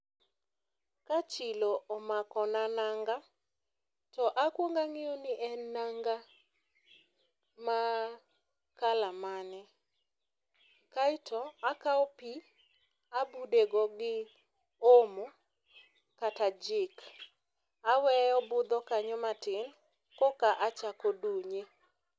ka chilo omako na nanga, to akuong ang'iyo ni en nanga maa kala mane, kae to akao pii tabude go gi omo kata jik awe obudho kanyo matin koka achako dunye.